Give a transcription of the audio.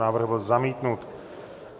Návrh byl zamítnut.